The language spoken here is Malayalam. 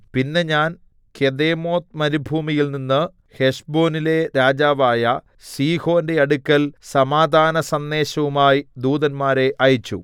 പിന്നെ ഞാൻ കെദേമോത്ത് മരുഭൂമിയിൽനിന്ന് ഹെശ്ബോനിലെ രാജാവായ സീഹോന്റെ അടുക്കൽ സമാധാനസന്ദേശവുമായി ദൂതന്മാരെ അയച്ചു